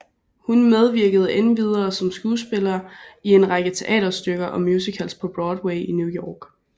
Hun medvirkede endvidere som skuespiller i en række teaterstykker og musicals på Broadway i New York